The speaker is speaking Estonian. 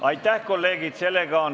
Aitäh, kolleegid!